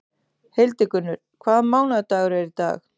Hildigunnur, hvaða mánaðardagur er í dag?